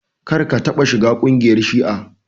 Kar ka taɓa shiga kungiyar shi'a!